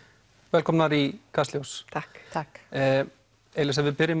velkomnar í Kastljós takk takk elíza ef við byrjum